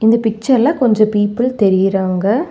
இந்த பிச்சர் ல கொஞ்ச பீப்பள் தெரியறாங்க.